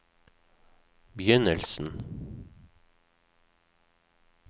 begynnelsen